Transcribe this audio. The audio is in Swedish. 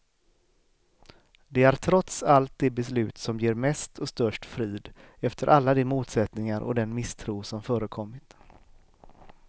Det är trots allt det beslut som ger mest och störst frid, efter alla de motsättningar och den misstro som förekommit.